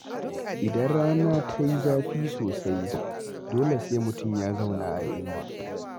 Idan rana ta yi zafi sosai, dole sai mutum ya zauna a inuwa